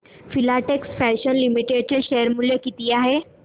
Filatex fashions limited चे share मूल्य किती आहे